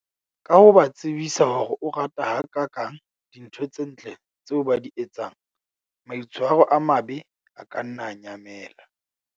Ka ho ba tsebisa hore o rata ha kakang dintho tse ntle tseo ba di etsang, maitshwaro a mabe a ka nna a nyamela.